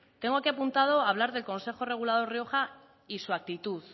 tengo aquí apuntado hablar del consejo regulador rioja y su actitud